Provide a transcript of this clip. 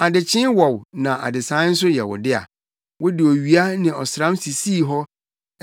Adekyee wɔ wo na adesae nso yɛ wo dea; wode owia ne ɔsram sisii hɔ.